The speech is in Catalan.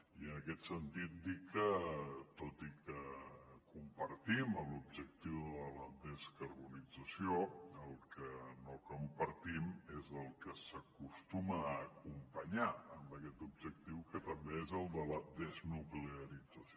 i en aquest sentit dir que tot i que compartim l’objectiu de la descarbonització el que no compartim és el que s’acostuma a acompanyar amb aquest objectiu que és el de la desnuclearització